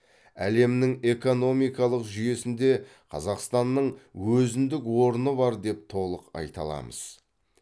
әлемнің экономикалық жүйесінде қазақстанның өзіндік орны бар деп толық айта аламыз